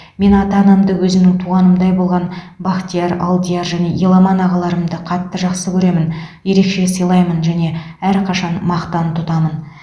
мен ата анамды өзімнің туғанымдай болған бахтияр алдияр және еламан ағаларымды қатты жақсы көремін ерекше сыйлаймын және әрқашан мақтан тұтамын